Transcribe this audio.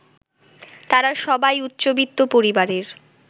তারা সবাই উচ্চবিত্ত পরিবারের